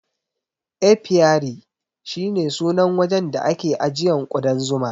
Apiary shi ne sunan wajen da ake ajiyan kudan Zuma.